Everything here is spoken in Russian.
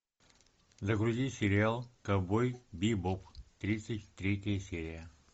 загрузи сериал ковбой бибоп тридцать третья серия